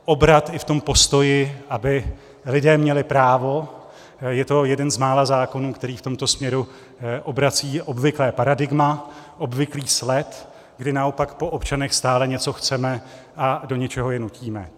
Obrat i v tom postoji, aby lidé měli právo - je to jeden z mála zákonů, který v tomto směru obrací obvyklé paradigma, obvyklý sled, kdy naopak po občanech stále něco chceme a do něčeho je nutíme.